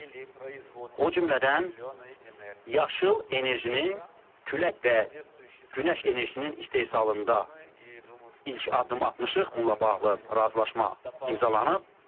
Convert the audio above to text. O cümlədən yaşıl enerjinin külək və günəş enerjisinin istehsalında ilk addım atmışıq, bununla bağlı razılaşma imzalanıb.